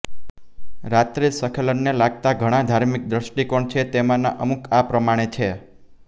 રાત્રિ સ્ખલનને લાગતા ઘણાં ધાર્મિક દ્રષ્ટિકોણ છે તેમાંના અમુક આ પ્રમાણે છે